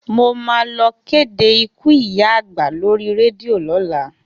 Mo máa lọ kéde ikú ìyá àgbà lórí rédíò lọ́la.